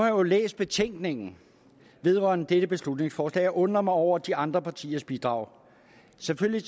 jo læst betænkningen vedrørende dette beslutningsforslag og jeg undrer mig over de andre partiers bidrag selvfølgelig